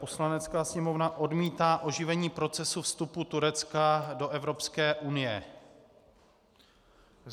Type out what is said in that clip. Poslanecká sněmovna odmítá oživení procesu vstupu Turecka do Evropské unie.